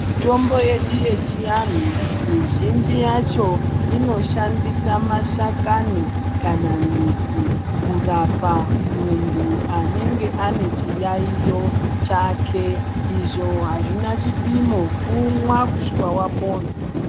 Mutombo yedu yechianhu mizhinji yacho inoshandisa mashakani kana midzi kurapa muntu anenge anechiyaiyo chake. Izvo hazvina chipimo, kumwa kusvika wapona.